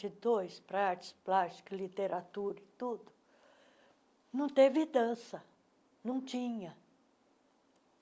e dois, para artes plásticas, literatura e tudo, não teve dança, não tinha.